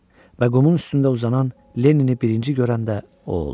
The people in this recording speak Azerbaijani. Və qumun üstündə uzanan Lennini birinci görəndə o oldu.